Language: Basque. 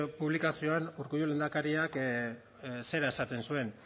publikazioan urkullu lehendakariak zera esaten zuen